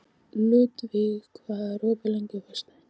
Ludvig, hvað er opið lengi á föstudaginn?